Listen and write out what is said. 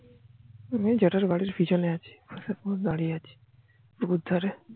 আমি জেঠার বাড়ির পিছনে আছি দাঁড়িয়ে আছি পুকুর ধরে